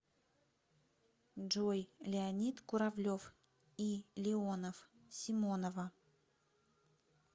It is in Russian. джой леонид куравлев и леонов симонова